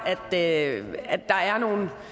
lavet